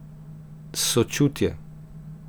Sočutje.